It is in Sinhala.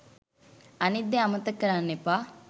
අනිත් දේ අමතක කරන්න එපා